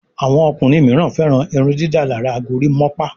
Àwọn ọkùnrin míràn féràn irundidalara gorimopa.